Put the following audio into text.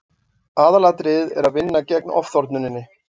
Aðalatriðið er að vinna gegn ofþornuninni.